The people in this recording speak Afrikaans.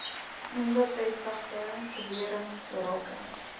onbevestigde bewerings rakende